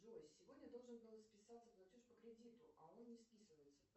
джой сегодня должен был списаться платеж по кредиту а он не списывается